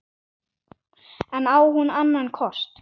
En á hún annan kost?